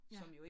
Ja